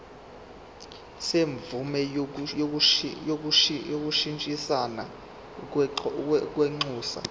semvume yokushintshisana kwinxusa